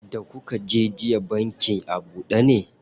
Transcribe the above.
Da kuka je jiya bankin a buɗe ne?